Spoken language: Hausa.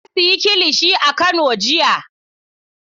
Na sayi kilishi a kano jiya.